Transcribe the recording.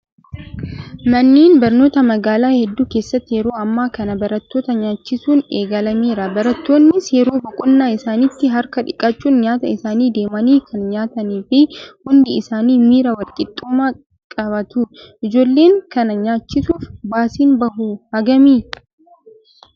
Manneen barnootaa magaalaa hedduu keessatti yeroo ammaa kana barattoota nyaachisuun eegalameera. Barattoonnis yeroo boqonnaa isaaniitti harka dhiqachuun nyaata isaanii deemanii kan nyaatanii fi hundi isaanii miira walqixxummaa qabaatu. Ijoollee kana nyaachisuuf baasiin bahu hagamii?